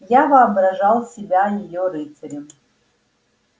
я воображал себя её рыцарем